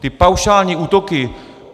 Ty paušální útoky...